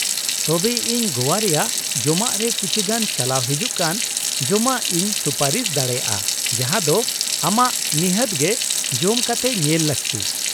ᱛᱚᱵᱮ ᱤᱧ ᱜᱚᱣᱟ ᱨᱮᱭᱟᱜ ᱡᱚᱢᱟᱜ ᱨᱮ ᱠᱤᱪᱷᱤᱜᱟᱱ ᱪᱟᱞᱟᱣ ᱦᱤᱡᱩᱜ ᱠᱟᱱ ᱡᱚᱢᱟᱜ ᱤᱧ ᱥᱩᱯᱟᱹᱨᱤᱥ ᱫᱟᱲᱮᱭᱟᱜᱼᱟ ᱡᱟᱦᱟᱸ ᱫᱚ ᱟᱢᱟᱜ ᱱᱤᱷᱟᱹᱛ ᱜᱮ ᱡᱚᱢ ᱠᱟᱛᱮ ᱧᱮᱞ ᱞᱟᱹᱠᱛᱤ ᱾